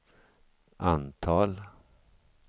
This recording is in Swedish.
antal